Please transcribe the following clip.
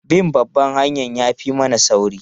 Bin babban hanyar ya fi mana sauri.